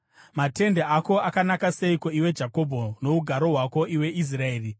“Matende ako akanaka seiko, iwe Jakobho, nougaro hwako, iwe Israeri!